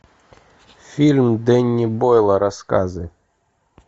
фильм дэнни бойла рассказы